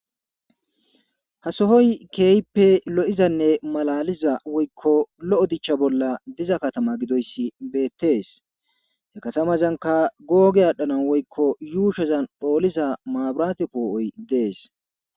Hasohoy keeyipe lo'izanne malaliza woykko lo'o dicha bolla diza katama gidoyssi beettees hekatamazanka googe aadhdhanan woykko yuushezan phooliza maabirate poo'oy dees.